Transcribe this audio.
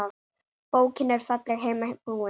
Bókin er fallega heiman búin.